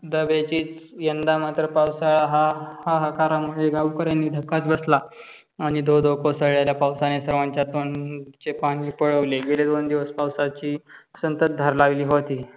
यंदा मात्र पावसाळा हा हाहाकरमुळे गावकाऱ्याना धक्काच बसला आणि धो धो कोसळलेल्या पावसामुळे सर्वांच्या तोंडचे पानी पळवले. गेले दोन दिवस पावसाची सतत धार लागली होती.